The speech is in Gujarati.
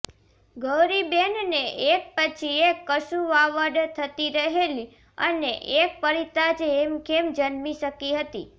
ગૌરીબેનને એક પછી એક કસુવાવડ થતી રહેલી અને એક પરિતા જ હેમખેમ જન્મી શકી હતી